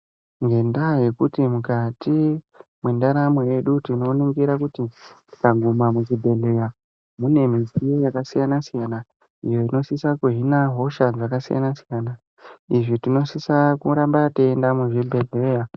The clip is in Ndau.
Ngendaa yekuti mukati mendaramo yedu tinoningira kuti tikapinda muchibhehleya mune mitombo ere yakasiyana siyana ingadisa kuhina hosha dzakasiyana siyana izvi tinosisa kuramba teienda muzvibhehleya.